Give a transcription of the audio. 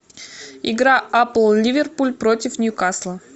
игра апл ливерпуль против ньюкасла